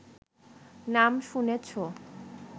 নাম শুনেছ